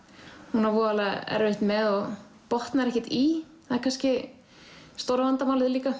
hún á voðalega erfitt með og botnar ekkert í það er kannski stóra vandamálið líka